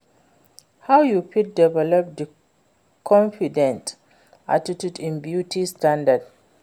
how you fit develop di confident attitude in beauty standard?